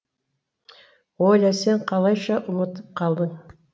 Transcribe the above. оля сен қалайша ұмытып қалдың